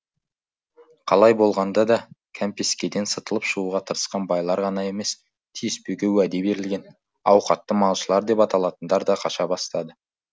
қалай болғанда да кәмпескеден сытылып шығуға тырысқан байлар ғана емес тиіспеуге уәде берілген ауқатты малшылар деп аталатындар да қаша бастады